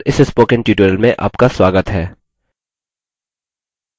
libreoffice base पर इस spoken tutorial में आपका स्वागत है